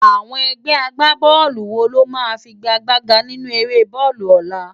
Awòn ègbè ágbábòlú wó ló má figágbágá ninú éré bòlú òlá?